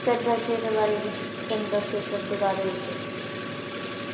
ਚੰਦਰ ਸ਼ੇਖਰ ਬਾਰੇ ਜੀ ਚੰਦਰ ਸ਼ੇਖਰ ਦੇ ਬਾਰੇ ਦਸੋ